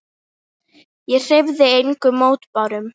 Ég hreyfði engum mótbárum.